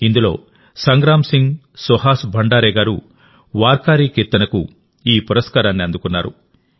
ఇందులోసంగ్రామ్ సింగ్ సుహాస్ భండారే గారు వార్కారీ కీర్తనకు ఈ పురస్కారాన్ని అందుకున్నారు